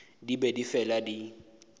di be di fela di